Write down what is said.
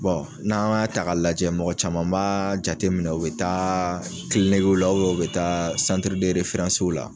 n'an y'a ta ka lajɛ mɔgɔ caman b'a jateminɛ, u bi taa la u bi taa la.